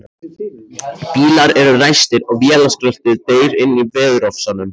Bílar eru ræstir og vélarskröltið deyr inní veðurofsanum.